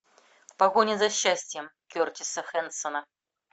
в погоне за счастьем кертиса хэнсона